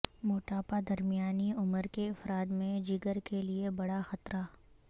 موٹاپا درمیانی عمر کے افراد میں جگر کے لیے بڑا خطرہ